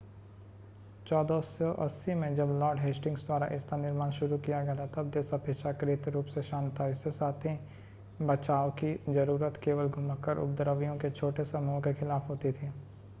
1480 में जब Lord Hastings द्वारा इसका निर्माण शुरू किया गया था तब देश अपेक्षाकृत रूप से शांत था इसके साथ ही बचाव की ज़रूरत केवल घुमक्कड़ उपद्रवियों के छोटे समूहों के खिलाफ़ होती थी